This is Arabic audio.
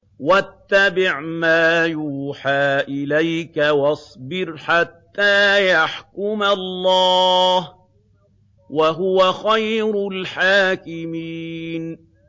وَاتَّبِعْ مَا يُوحَىٰ إِلَيْكَ وَاصْبِرْ حَتَّىٰ يَحْكُمَ اللَّهُ ۚ وَهُوَ خَيْرُ الْحَاكِمِينَ